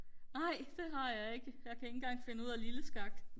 nej det har jeg ikke jeg kan ikke engang finde ud af lille skak